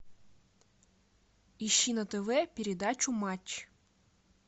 ищи на тв передачу матч